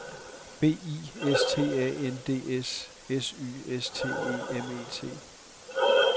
B I S T A N D S S Y S T E M E T